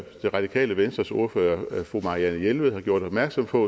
det radikale venstres ordfører fru marianne jelved har gjort opmærksom på